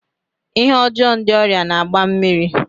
Ihe ọjọọ ndị ọrịa na-agba mmiri.